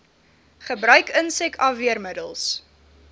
gebruik insek afweermiddels